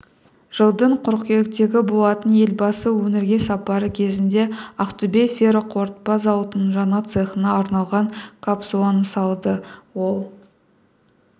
жылдың қыркүйегі болатын елбасы өңірге сапары кезінде ақтөбе ферроқорытпа зауытының жаңа цехына арналған капсуланы салды ол